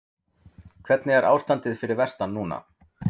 Hvernig er ástandið fyrir vestan núna?